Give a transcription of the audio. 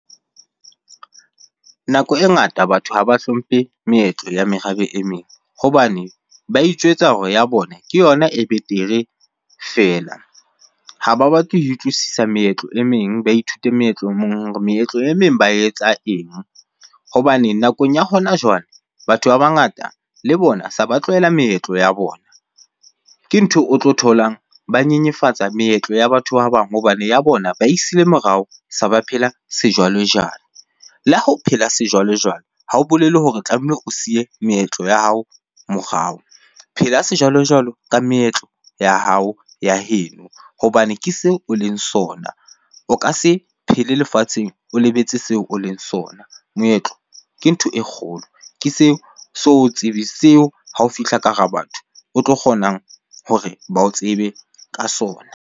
Nako e ngata batho haba hlomphe meetlo ya merabe e meng hobane ba itjwetsa hore ya bona ke yona e betere feela. Ha ba batle ho utlwisisa meetlo e meng, ba ithute meetlo e mong hore meetlo e meng ba etsa eng? Hobane nakong ya hona jwale, batho ba bangata le bona se ba tlwella meetlo ya bona. Ke ntho o tlo tholang ba nyenyefatsa meetlo ya batho ba bang hobane ya bona ba e siile morao, se ba phela sejwalejwale. Le ha o phela sejwalejwale ha ho bolele hore tlamehile o siye meetlo ya hao morao. Phela sejwalojwalo ka meetlo ya hao, ya heno hobane ke seo o leng sona. O ka se phele lefatsheng o lebetse seo o leng sona. Moetlo ke ntho e kgolo, ke seo seo ha o fihla ka hara batho o tlo kgonang hore ba o tsebe ka sona.